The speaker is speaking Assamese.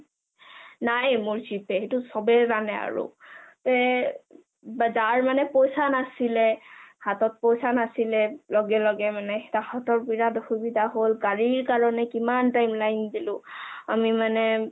নাই মোৰ G pay সেইটো চবে জানে আৰু তে যাৰ মানে পইচা নাছিলে হাতত পইচা নাছিলে লগে লগে তঁহতৰ বিৰাত অসুবিধা হল গাডী কাৰণে কিমান time line দিলো আমি মানে